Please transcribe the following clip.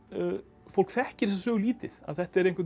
fólk þekkir þessa sögu lítið þetta er